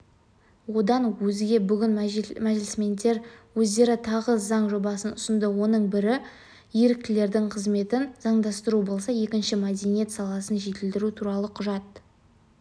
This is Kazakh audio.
одан өзге бүгін мәжілісмендер өздері тағы заң жобасын ұсынды оның бірі еріктілердің қызметін заңдастыру болса екіншісі мәдениет саласын жетілдіру туралы құжат